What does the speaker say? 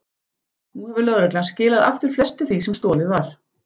Nú hefur lögreglan skilað aftur flestu því sem stolið var.